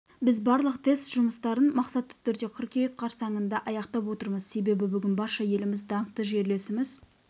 біз барлық тест жұмыстарын мақсатты түрде қыркүйек қарсаңында аяқтап отырмыз себебі бүгін барша еліміз даңқты жерлесіміз